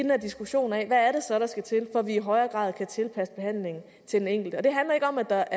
her diskussion af hvad det så er der skal til for at vi i højere grad kan tilpasse behandlingen til den enkelte det handler ikke om at der